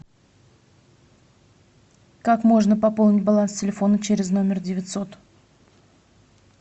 как можно пополнить баланс телефона через номер девятьсот